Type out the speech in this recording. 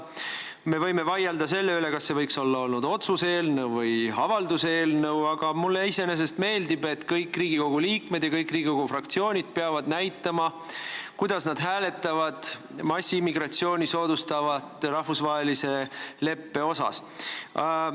Me võime vaielda selle üle, kas see oleks võinud olla otsuse eelnõu või avalduse eelnõu, aga mulle iseenesest meeldib, et kõik Riigikogu liikmed ja kõik Riigikogu fraktsioonid peavad näitama, kuidas nad hääletavad massiimmigratsiooni soodustava rahvusvahelise leppe üle.